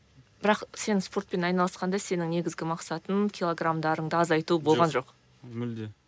бірақ сен спортпен айналысқанда сенің негізгі мақсатың килограмдарыңды азайту болған жоқ жоқ мүлде